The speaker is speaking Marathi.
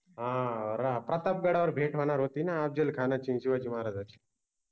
आह आर प्रतापगडावर भेट होनार होति न अफजलखानाचि आन शिवाजि महाराजांचि